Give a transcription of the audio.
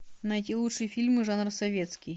найти лучшие фильмы жанра советский